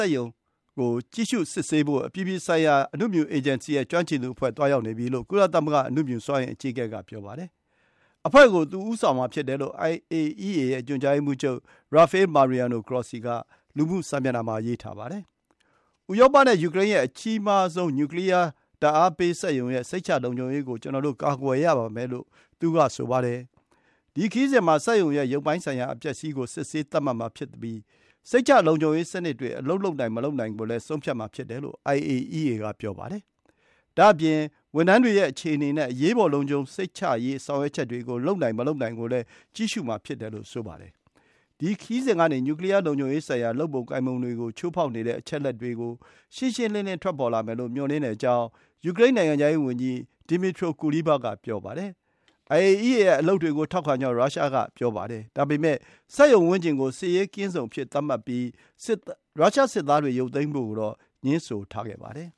က်ရုံကို ကြည့်ရှုစစ်ဆေးဖို့ အပြည်ပြည်ဆိုင်ရာ အနုမြူအေဂျင်စီ (IAEA) ရဲ့ ကျွမ်းကျင်သူတွေ သွားရောက်နေပြီလို့ ကုလသမဂ္ဂ အနုမြူစွမ်းအင် အကြီးအကဲက ပြောပါတယ်။ အဖွဲ့ကို သူ ဦးဆောင်မှာဖြစ်တယ်လို့ IAEA ရဲ့ ညွှန်ကြားရေးမှူးချုပ် Rafael Mariano Grossi က လူမှုစာမျက်နှာမှာ ရေးထားပါတယ်။ “ဥရောပနဲ့ယူကရိန်းရဲ့ အကြီးဆုံး နျူကလီယားဓာတ်အားပေးစက်ရုံရဲ့ စိတ်ချလုံခြုံရေးကို ကျနော်တို့ ကာကွယ်ရပါမယ်” လို့ သူက ဆိုပါတယ်။ ဒီ ခရီးစဉ်မှာ စက်ရုံရဲ့ရုပ်ပိုင်းဆိုင်ရာ အပျက်အစီးကို စစ်ဆေးသတ်မှတ်မှာ ဖြစ်ပြီး စိတ်ချလုံခြုံရေးစနစ်တွေ အလုပ်လုပ်နိုင် မလုပ်နိုင်ကို ဆုံးဖြတ်မှာဖြစ်တယ်လို့ IAEA က ပြောပါတယ်။ ဒါ့အပြင် ဝန်ထမ်းတွေရဲ့အခြေအနေနဲ့ အရေးပေါ် လုံခြုံစိတ်ချရေး ဆောင်ရွက်ချက်တွေကို လုပ်နိုင်မလုပ်နိုင်ကိုလည်း ကြည့်ရှုမှာ ဖြစ်တယ် လို့ ဆိုပါတယ်။ ဒီ ခရီးစဉ်ကနေ နျူကလီယား လုံခြုံရေးဆိုင်ရာ လုပ်ပုံကိုင်ပုံတွေကို ချိုးဖောက်နေတဲ့ အချက်အလက်တွေ ရှင်းရှင်း ထွက်ပေါ်လာမယ်လို့ မျှော်လင့်ကြောင်း ယူကရိန်း နိုင်ငံခြားရေးဝန်ကြီး Dmytro Kuleba က ပြောပါတယ်။ IAEA ရဲ့ အလုပ်တွေကို ထောက်ခံကြောင်း ရုရှားက ပြောပါတယ်။ ဒါပေမယ့် စက်ရုံဝန်းကျင်ကို စစ်ရေးကင်းဇုံသတ်မှတ်ပြီး ရုရှားစစ်သားတွေ ရုပ်သိမ်းဖို့ကိုတော့ ငြင်းဆိုထားပါတယ်